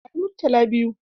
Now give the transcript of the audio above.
Bani Murtala biyu!